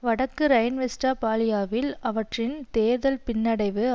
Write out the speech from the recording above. வடக்கு ரைன்வெஸ்ட்பாலியாவில் அவற்றின் தேர்தல் பின்னடைவு